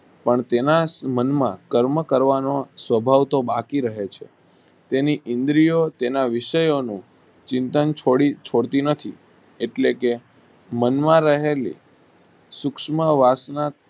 પણ તેના મન માં ક્રમ કરવાનો સ્વભાવ તો બાકી રહે છે તેની ઈન્દ્રી ઓ તેના વિષય અને ચિતં છોડતી નથી એટલે કે મન માં રહેલી સુક્ષમ વાસ ના